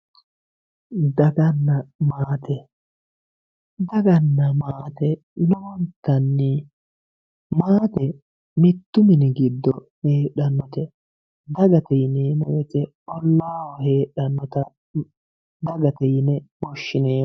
Dagana maate, daganna maate lowontanni maate mitu mini giddo heedhanote dagate yineemmo woyte ollaho heedhanotta dagate yineemmo, woshshineemmo.